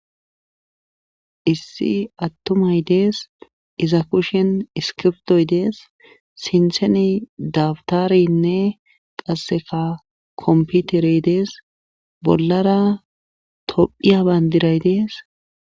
Issi attomay dees iza kushen iskiptoy dees sintheni dabtarenne qasseka komputerey dees bollara tophiya bayndiray dees.